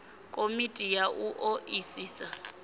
komiti ya u o isisa